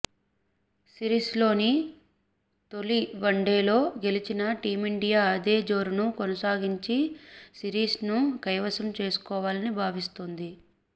సిరీస్లోని తొలి వన్డేలో గెలిచిన టీమిండియా అదే జోరును కొనసాగించి సిరీస్ను కైవసం చేసుకోవాలని భావిస్తోంది